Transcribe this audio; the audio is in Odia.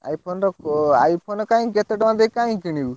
iPhone ର କୋ iPhone କାଇଁ କେତେ ଟଙ୍କା ଦେଇ କାଇଁ କିଣିବ।